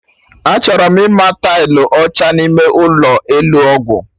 Achọrọ m ịma tailụ ọcha n'ime ụlọ, Ụlọ ọgwụ